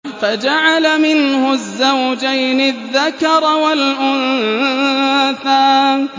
فَجَعَلَ مِنْهُ الزَّوْجَيْنِ الذَّكَرَ وَالْأُنثَىٰ